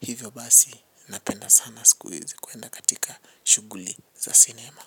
Hivyo basi napenda sana siku hizi kwenda katika shughuli za cinema.